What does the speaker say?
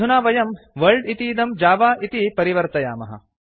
अधुना वयं वर्ल्ड इतीदं जव इति परिवर्तयामः